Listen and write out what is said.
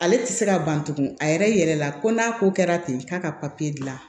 Ale tɛ se ka ban tugun a yɛrɛ la ko n'a ko kɛra ten k'a ka papiye dilan